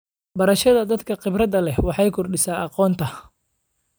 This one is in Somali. Barashada dadka khibradda leh waxay kordhisaa aqoonta.